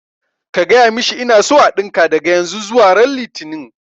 Ka gaya mishi ina so a ɗinka daga yanzu zuwa ran litini